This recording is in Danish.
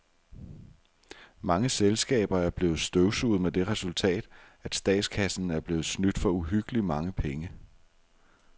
Mange selskaber er blevet støvsuget med det resultat, at statskassen er blevet snydt for uhyggeligt mange penge.